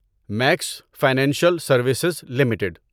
Max Financial Services limited